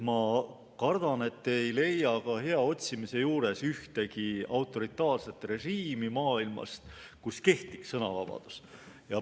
Ma kardan, et te ei leia ka hea otsimise korral maailmas ühtegi autoritaarset režiimi, kus kehtiks sõnavabadus.